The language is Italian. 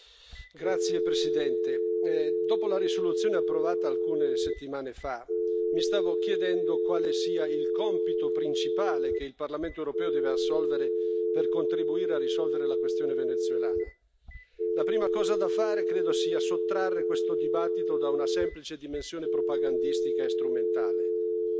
Signor Presidente, onorevoli colleghi, dopo la risoluzione approvata alcune settimane fa, mi stavo chiedendo quale sia il compito principale che il Parlamento europeo deve assolvere per contribuire a risolvere la questione venezuelana. La prima cosa da fare credo sia sottrarre questo dibattito da una semplice dimensione propagandistica e strumentale.